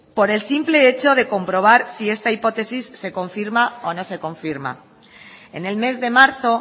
por el simple hecho de comprobar si esta hipótesis se confirma o no se confirma en el mes de marzo